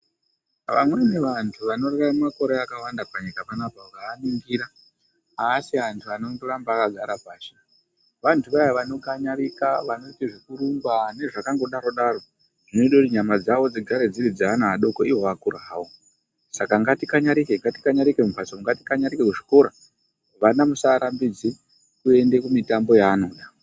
Vamweni vanthu vanorarama makore akawanda panyika panoapa mukavaningira avasi anthu anondoramba akagara pashi, vanthu vaya vanokanyarika vaoite zvekurumba nezvakangodaro daro zvinoite nyama dzawo dzigare dziri dzeana adoko, iwo akura hawo . Saka ngatikanyarike, ngatikanyarike mumbatso umo ngatikanyarike kuzvikora. Vana musaarambidze kuende kumitambo yaanoda.